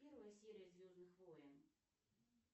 первая серия звездных войн